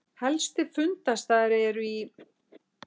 Helstu fundarstaðir eru í